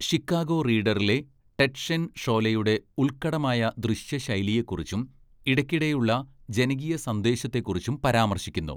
Chicago റീഡറിലെ Ted Shen ഷോലെയുടെ 'ഉല്‍ക്കടമായ ദൃശ്യ ശൈലിയെ' കുറിച്ചും ഇടയ്ക്കിടെയുള്ള 'ജനകീയ സന്ദേശത്തെ' കുറിച്ചും പരാമർശിക്കുന്നു.